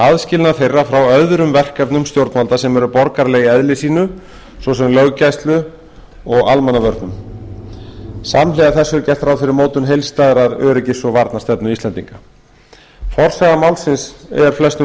aðskilnað þeirra frá öðrum verkefnum stjórnvalda sem eru borgaraleg í eðli sínu svo sem löggæslu og almannavörnum samhliða þessu er gert ráð fyrir mótun heildstæðrar öryggis og varnarstefnu íslendinga forsaga málsins er flestum